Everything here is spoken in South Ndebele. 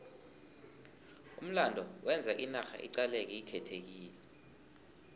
umlando wenza inarha iqaleke ikhethekile